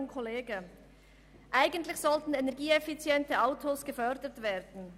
Ich zitiere: «Eigentlich sollten energieeffiziente Autos gefördert werden.